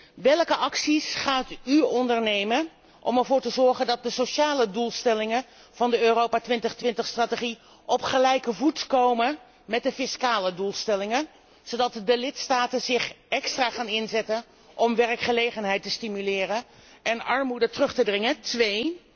1. Welke acties gaat u ondernemen om ervoor te zorgen dat de sociale doelstellingen van de Europa 2020 strategie op gelijke voet komen met de fiscale doelstellingen, zodat de lidstaten zich extra gaan inzetten om werkgelegenheid te stimuleren en armoede terug te dringen? 2.